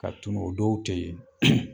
Ka tunun o dɔw tɛ ye